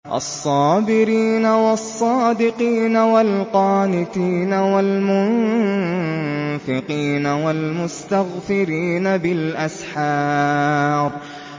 الصَّابِرِينَ وَالصَّادِقِينَ وَالْقَانِتِينَ وَالْمُنفِقِينَ وَالْمُسْتَغْفِرِينَ بِالْأَسْحَارِ